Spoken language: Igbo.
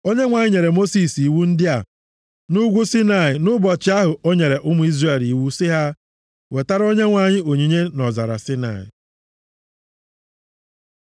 Onyenwe anyị nyere Mosis iwu ndị a nʼugwu Saịnaị nʼụbọchị ahụ o nyere ụmụ Izrel iwu sị ha, wetara Onyenwe anyị onyinye nʼọzara Saịnaị.